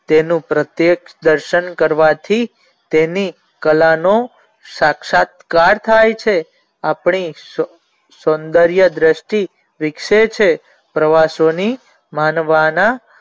તેનું પ્રતેક દર્શન કરવાથી તેની કલા નો ક્ષાતક્ષાતકાર થાય છે આપણે સૌંદ્રય દ્રષ્ટિ વિકસે છે પ્રવાસોની માનવાના